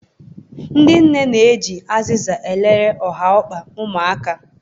Ndị nne ji azịza elele nha ụkwụ ụmụaka